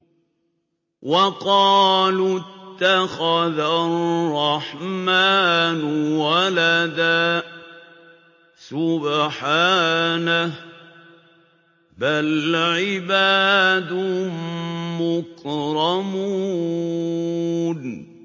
وَقَالُوا اتَّخَذَ الرَّحْمَٰنُ وَلَدًا ۗ سُبْحَانَهُ ۚ بَلْ عِبَادٌ مُّكْرَمُونَ